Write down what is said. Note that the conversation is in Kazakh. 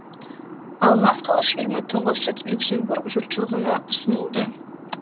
алмас қылыш фильмі тұңғыш рет люксембург жұртшылығына ұсынылды